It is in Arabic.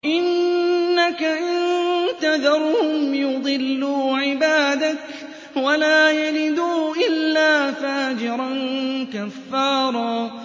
إِنَّكَ إِن تَذَرْهُمْ يُضِلُّوا عِبَادَكَ وَلَا يَلِدُوا إِلَّا فَاجِرًا كَفَّارًا